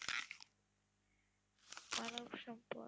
মানবসম্পদ